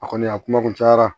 A kɔni a kuma kun cayara